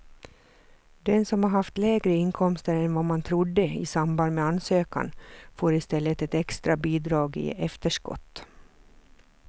Den som har haft lägre inkomster än vad man trodde i samband med ansökan får i stället ett extra bidrag i efterskott.